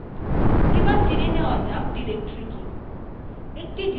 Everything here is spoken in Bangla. এবার জেনে নেওয়া যাক directory কি